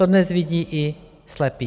To dnes vidí i slepý.